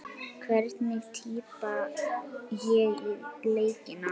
Hvernig tippa ég á leikina?